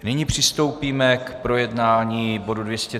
Nyní přistoupíme k projednávání bodu